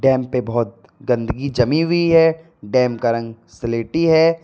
Dam पर बहुत गंदगी जमी हुई है डैम का रंग स्लेटी है।